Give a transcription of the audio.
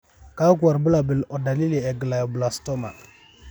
kakwa irbulabol o dalili e glioblastoma?